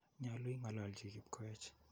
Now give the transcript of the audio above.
Nyalu ing'ololji Kipkoech.